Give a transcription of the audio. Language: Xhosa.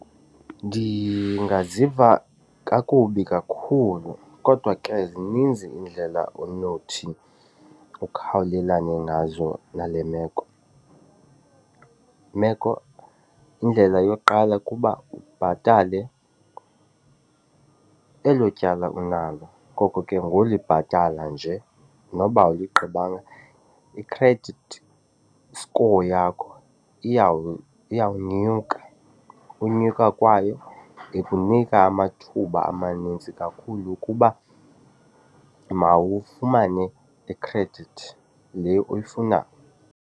Ndingaziva kakubi kakhulu kodwa ke zininzi iindlela onothi ukhawulelane nazo nale meko meko. Imeko, indlela yokuqala kukuba ubhatale elo tyala unalo. Ngoko ke ngolibhatala nje noba awuligqibanga i-credit score yakho iyawunyuka, unyuka kwayo ikunika amathuba amanintsi kakhulu ukuba mawufumane ikhredithi le uyifunayo.